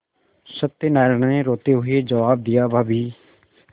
सत्यनाराण ने रोते हुए जवाब दियाभाभी